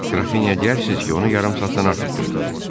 Qrafinyaya deyərsiz ki, onu yarım saatdan artıq gözlədim.